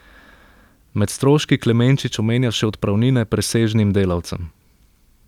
Med stroški Klemenčič omenja še odpravnine presežnim delavcem.